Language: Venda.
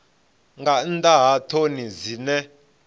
nga nnḓa ha ṱhoni dzine